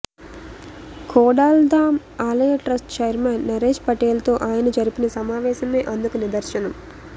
ఖోడాల్ధామ్ ఆలయ trust chairman Naresh పటేల్తో ఆయన జరిపిన సమావేశమే అందుకు నిదర్సనం